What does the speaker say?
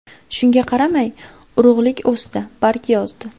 Shunga qaramay, urug‘lik o‘sdi, barg yozdi.